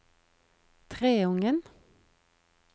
Treungen